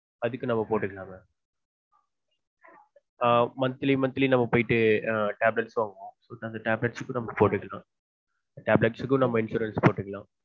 அதுக்கும் நாம்ம போட்டுக்களான் mam ஆஹ் monthly monthly நாம்ம போய்ட்டு tablet வாங்குவொம் அந்த tablets க்கு போட்டுக்களான் அந்த tablets க்கும் நாம்ம insurance போட்டுக்களான்